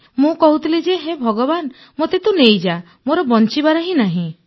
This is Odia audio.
ମୁଁ କହୁଥିଲି ଯେ ହେ ଭଗବାନ ମୋତେ ତୁ ନେଇଯାଆ ମୋର ବଂଚିିବାର ନାହିଁ